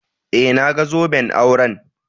Eh, na gan zoben auren.